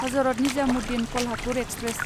Hazrat Nizamuddin Kolhapur express